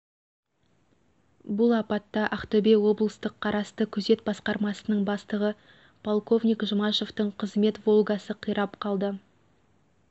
бұл аптатта ақтөбе облыстық қарасты күзет басқармасының бастығы полковник жұмашевтың қызмет волгасы қирап қалды